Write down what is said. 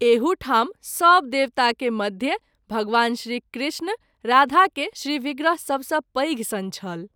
एहू ठाम सभ देवता के मध्य भगवान श्री कृष्ण राधा के श्री विग्रह सभ सँ पैघ सन छल।